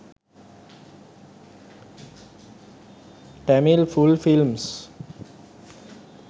tamil full films